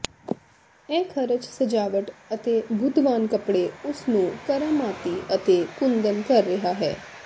ਇਹ ਖਰਚ ਸਜਾਵਟ ਅਤੇ ਬੁੱਧਵਾਨ ਕੱਪੜੇ ਉਸ ਨੂੰ ਕਰਾਮਾਤੀ ਅਤੇ ਕੁੰਦਨ ਕਰ ਰਿਹਾ ਹੈ